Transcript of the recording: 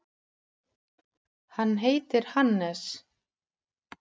Hann heitir Hannes.